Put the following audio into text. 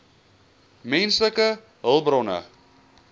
menslike hulpbronne